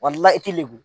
i ti lebu